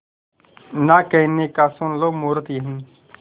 ना कहने का सुन लो मुहूर्त यही